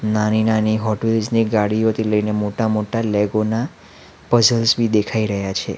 નાન- નાની Hot Wheels ની ગાડીઓથી લઈ ને મોટા-મોટા લેગો ના પઝલ્સ બી દેખાઈ રહ્યા છે.